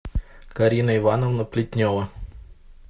карина ивановна плетнева